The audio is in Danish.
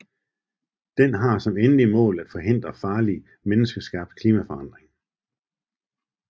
Den har som endeligt mål at forhindre farlig menneskeskabt klimaforandring